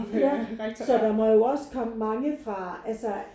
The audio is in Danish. Ja så der må jo også komme mange fra altså